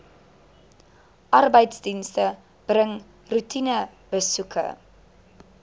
arbeidsdienste bring roetinebesoeke